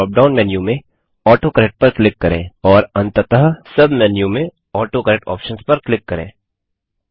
फिर drop down menu में autocorrect पर क्लिक करें और अंततः सब मेन्यू में ऑटोकरेक्ट आप्शंस पर क्लिक करें